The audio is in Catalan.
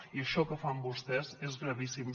i això que fan vostès és gravíssim